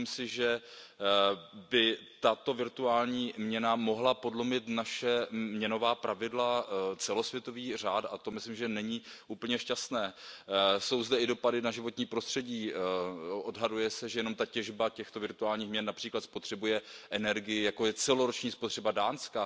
Myslím si, že by tato virtuální měna mohla podlomit naše měnová pravidla, celosvětový řád, a to myslím, že není úplně šťastné. Jsou zde i dopady na životní prostředí, odhaduje se, že jenom ta těžba těchto virtuálních měn například spotřebuje energii jako je celoroční spotřeba Dánska.